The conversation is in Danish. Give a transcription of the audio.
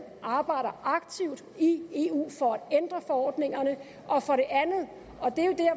arbejder aktivt i eu for at ændre forordningerne og for det andet